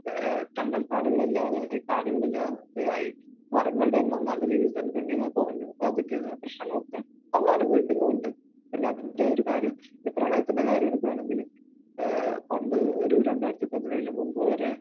ഏഹ് കണ്ടൽക്കാടുകൾ ഇല്ലാതായി. കാടുകൾ ഇല്ലാതെയായി. മരങ്ങളുടെ എണ്ണം നല്ല രീതിയിൽ തന്നെ ഗണ്യമായി കുറഞ്ഞു. അപ്പോൾ അതിന്റേതായ പ്രശ്നങ്ങളൊക്കെ നമ്മൾ അനുഭവിക്കുന്നുമുണ്ട്. പിന്നെ അതിന്റെയൊരു കാര്യം ഈ പ്രളയത്തിന്റെ കാര്യം എടുക്കുകയാണെങ്കിൽ ഏഹ് പണ്ട് ഒരു രണ്ടായിരത്തിപ്പതിനേഴിന് മുൻപ് വരെ